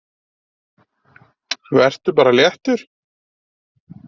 Vertu bara léttur!